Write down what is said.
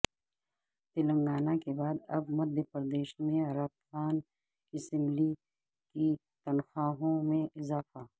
تلنگانہ کے بعد اب مدھیہ پردیش میں ارکان اسمبلی کی تنخواہوں میں اضافہ